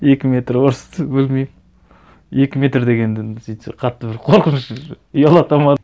екі метр орыс білмеймін екі метр дегенде енді сөйтсе қатты бір қорқыныш ұялатады ма